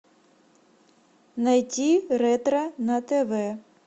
найти ретро на тв